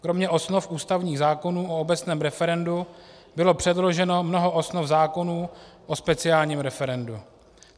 Kromě osnov ústavních zákonů o obecném referendu bylo předloženo mnoho osnov zákonů o speciálním referendu.